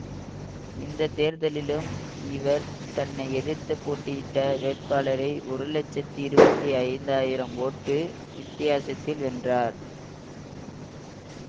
இந்த தேர்தலிலும் இவர் தன்னை எதிர்த்து போட்டியிட்ட வேட்பாளரை ஒரு லட்சத்தி இருபத்தி ஐந்தாயிரம் ஓட்டு வித்தியாசத்தில் வென்றார்